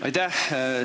Aitäh!